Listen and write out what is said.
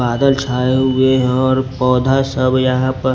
बादल छाए हुए हैं और पौधा सब यहां पर --